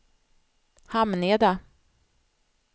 Hamneda